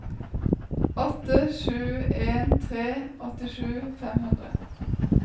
åtte sju en tre åttisju fem hundre